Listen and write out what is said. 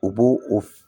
U b'o o